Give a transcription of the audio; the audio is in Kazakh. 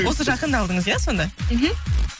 осы жақында алдыңыз иә сонда мхм